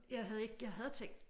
Jeg havde ikke jeg havde tænkt